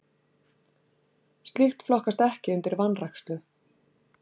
Slíkt flokkast ekki undir vanrækslu.